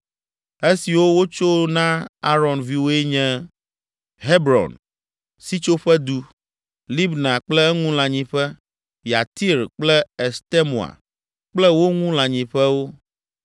Esiwo wotso na Aron viwoe nye: Hebron (Sitsoƒedu), Libna kple eŋu lãnyiƒe, Yatir kple Estemoa kple wo ŋu lãnyiƒewo.